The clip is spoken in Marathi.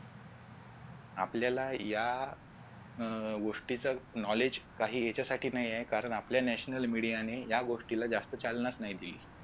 आपल्याला या अह गोष्टीच knowledge काही याच्यासाठी नाहीये कारण आपल्या national media ने या गोष्टीला जास्त चालनाच नाही दिली.